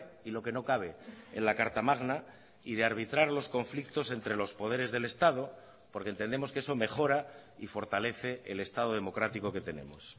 y lo que no cabe en la carta magna y de arbitrar los conflictos entre los poderes del estado porque entendemos que eso mejora y fortalece el estado democrático que tenemos